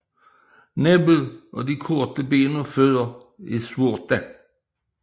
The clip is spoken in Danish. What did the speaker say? Næbbet og de korte ben og fødder er sorte